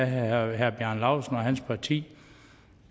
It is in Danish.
herre bjarne laustsens parti